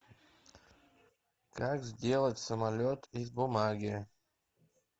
как сделать самолет из бумаги